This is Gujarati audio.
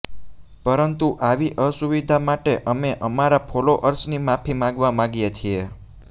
પરંતુ આવી અસુવિધા માટે અમે અમારા ફોલોઅર્સની માફી માગવા માગીએ છીએ